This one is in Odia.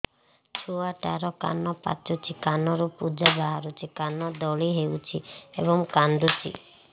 ଛୁଆ ଟା ର କାନ ପାଚୁଛି କାନରୁ ପୂଜ ବାହାରୁଛି କାନ ଦଳି ହେଉଛି ଏବଂ କାନ୍ଦୁଚି